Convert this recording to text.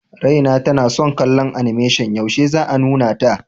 Raina tana son kallon animation, yaushe za a nuna ta?